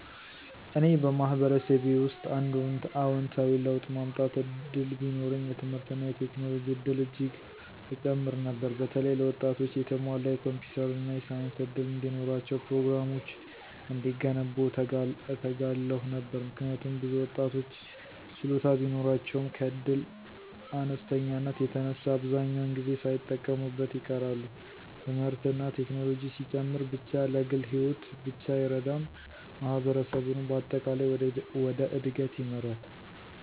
እኔ በማህበረሰቤ ውስጥ አንድ አዎንታዊ ለውጥ ማመጣት እድል ቢኖረኝ፣ የትምህርትና የቴክኖሎጂ እድል እጅግ እጨምር ነበር። በተለይ ለወጣቶች የተሟላ የኮምፒውተር እና የሳይንስ እድል እንዲኖራቸው፤ ፕሮግራሞች እንዲገነቡ እተጋለሁ ነበር። ምክንያቱም ብዙ ወጣቶች ችሎታ ቢኖራቸውም ከእድል አነስተኛነት የተነሳ አብዛኛውን ጊዜ ሳይጠቀሙበት ይቀራሉ። ትምህርትና ቴክኖሎጂ ሲጨምር ብቻ ለግል ሕይወት ብቻ አይረዳም፣ ማህበረሰቡንም በአጠቃላይ ወደ እድገት ይመራል።